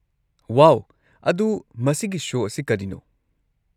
ꯋꯥꯎ! ꯑꯗꯨ ꯃꯁꯤꯒꯤ ꯁꯣ ꯑꯁꯤ ꯀꯔꯤꯅꯣ?